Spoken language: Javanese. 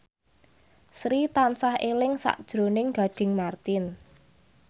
Sri tansah eling sakjroning Gading Marten